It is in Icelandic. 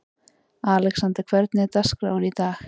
Alexander, hvernig er dagskráin í dag?